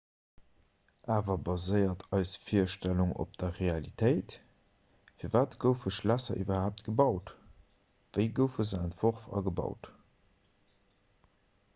awer baséiert eis virstellung op der realitéit firwat goufe schlässer iwwerhaapt gebaut wéi goufe se entworf a gebaut